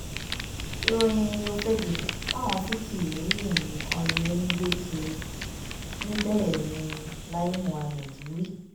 ìròyìn òfegè táwọn tí kì í rí nǹkan rere ń gbé kiri ní bẹ́ẹ̀ ni lai muhammed wí